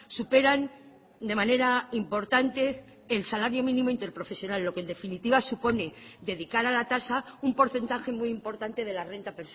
superan de manera importante el salario mínimo interprofesional lo que en definitiva supone dedicar a la tasa un porcentaje muy importante de la renta